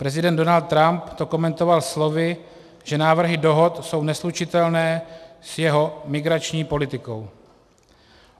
Prezident Donald Trump to komentoval slovy, že návrhy dohod jsou neslučitelné s jeho migrační politikou.